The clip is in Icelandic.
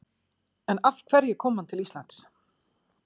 En af hverju kom hann til Íslands?